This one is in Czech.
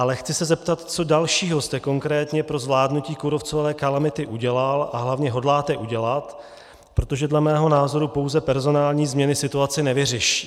Ale chci se zeptat, co dalšího jste konkrétně pro zvládnutí kůrovcové kalamity udělal a hlavně hodláte udělat, protože dle mého názoru pouze personální změny situaci nevyřeší.